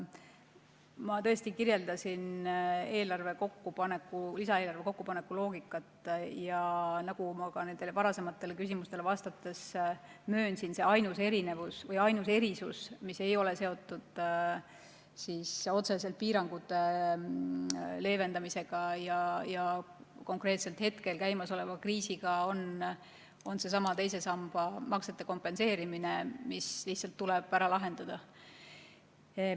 Ma tõesti kirjeldasin lisaeelarve kokkupaneku loogikat ja nagu ma ka varasematele küsimustele vastates möönsin, on ainus erisus – see, mis ei ole otseselt seotud piirangute leevendamise ja käimasoleva kriisiga – seesama teise samba maksete kompenseerimine, mis lihtsalt tuleb ära lahendada.